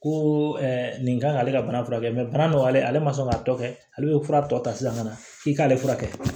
Ko nin kan k'ale ka bana furakɛ bana nɔgɔyalen ale ma sɔn k'a tɔ kɛ ale bɛ fura tɔ ta sisan ka na i k'ale furakɛ